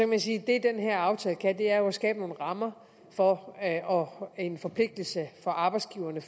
man sige at det den her aftale kan er at skabe nogle rammer for og en forpligtelse for arbejdsgiverne